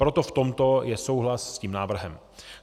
Proto v tomto je souhlas s tím návrhem.